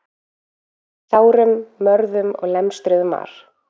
Sárum, mörðum og lemstruðum var